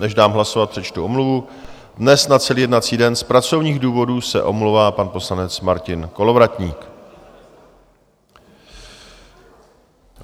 Než dám hlasovat, přečtu omluvu - dnes na celý jednací den z pracovních důvodů se omlouvá pan poslanec Martin Kolovratník.